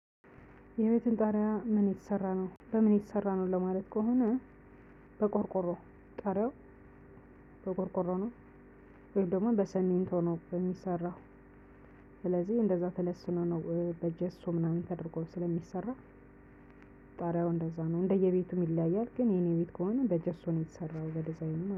የቤትህን ጣሪያ ምን የተሰራ ነው በምን የተሰራ ነው ለማለት ከሆነ በቆርቆሮ ጣሪያው በቆርቆሮ ነው ወይም ደግሞ በስሚንቶ ነው የሚሰራው። ስለዚህ እንደዛ ተለስኖ ነው በጀሶ ምናምን ተደርጎ ስለሚሰራ። ጣሪያው እንደዛ ነው እንደየ ቤቱም ይለያያል። ግን የኔ ቤት ከሆነ በጀሶ ነው የተሰራው በዲዛይኑ ማለት ነው